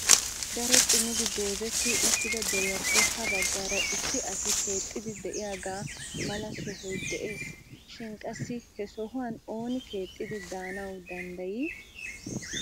Daro xummidi goozetti uttida deriyappe ha baggaara issi asi keexidi de'iyaga mala sohoy de'ees. Shin qassi he sohuwan ooni keexxidi de'anawu dandday?